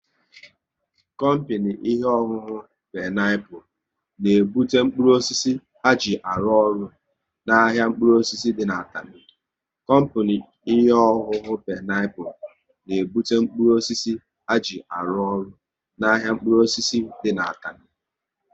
Kompini ihe ọṅụṅụ Peniapụl n'ebute mkpụrụ osisi ha ji arụ ọrụ n' ahịa mkpụrụ osisi dị n' Atani